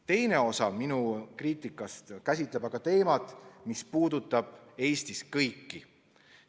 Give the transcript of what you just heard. Teine osa minu kriitikast käsitleb teemat, mis puudutab Eestis kõiki.